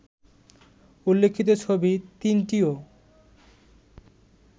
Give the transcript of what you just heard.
উল্লেখিত ছবি তিনটিও